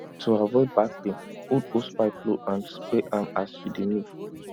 to avoid back pain hold hosepipe low and spray am as you dey move